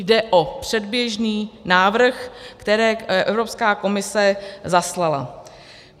Jde o předběžný návrh, který Evropská komise zaslala.